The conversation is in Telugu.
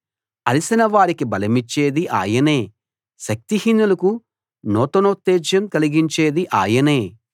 అలసిన వారికి బలమిచ్చేది ఆయనే శక్తిహీనులకు నూతనోత్తేజం కలిగించేది ఆయనే